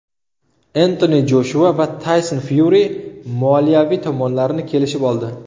Entoni Joshua va Tayson Fyuri moliyaviy tomonlarni kelishib oldi.